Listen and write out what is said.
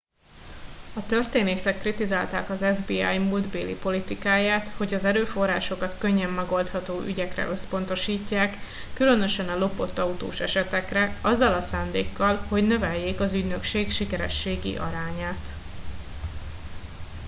a történészek kritizálták az fbi múltbeli politikáját hogy az erőforrásokat könnyen megoldható ügyekre összpontosítják különösen a lopott autós esetekre azzal a szándékkal hogy növeljék az ügynökség sikerességi arányát